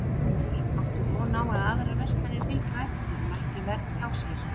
Gunnar: Áttu von á að aðrar verslanir fylgi á eftir og lækki verð hjá sér?